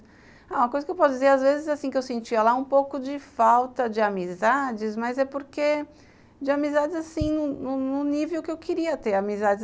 Ah, uma coisa que eu posso dizer, às vezes, assim, é que eu sentia lá um pouco de falta de amizades, mas é porque de amizades, assim, num num nível que eu queria ter amizades.